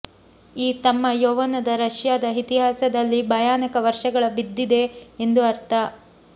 ಈ ತಮ್ಮ ಯೌವನದ ರಷ್ಯಾದ ಇತಿಹಾಸದಲ್ಲಿ ಭಯಾನಕ ವರ್ಷಗಳ ಬಿದ್ದಿದೆ ಎಂದು ಅರ್ಥ